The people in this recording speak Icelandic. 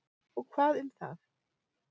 Og hvað um það!